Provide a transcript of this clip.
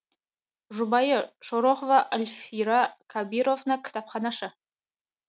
жұбайы шорохова альфира кабировна кітапханашы